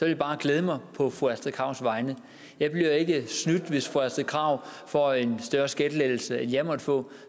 jeg bare glæde mig på fru astrid krags vegne jeg bliver ikke snydt hvis fru astrid krag får en større skattelettelse end jeg måtte få